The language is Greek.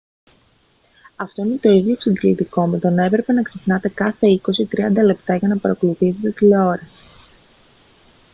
αυτό είναι το ίδιο εξαντλητικό με το να έπρεπε να ξυπνάτε κάθε είκοσι ή τριάντα λεπτά για να παρακολουθήσετε τηλεόραση